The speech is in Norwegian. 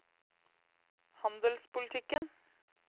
handelspolitikken